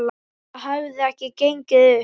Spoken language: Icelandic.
Það hefði ekki gengið upp.